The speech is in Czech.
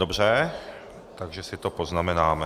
Dobře, takže si to poznamenáme.